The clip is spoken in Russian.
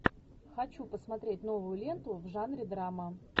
хочу посмотреть новую ленту в жанре драма